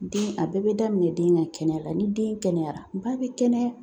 Den a bɛɛ bɛ daminɛ den ka kɛnɛya la, ni den kɛnɛyara ba bɛ kɛnɛya .